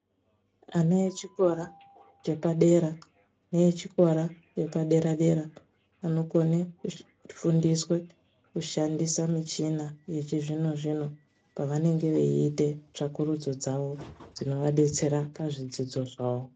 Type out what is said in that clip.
Ana echikora chepadera neechikora chepadera dera anokona kufundiswa kushandisa michina yechizvino zvino pavanenge veita tsvakurudzo dzawo dzinenge dzeivadetsera muzvidzidzo zvawo.